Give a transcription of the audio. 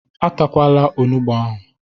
E takwala onugbu ahu ilu!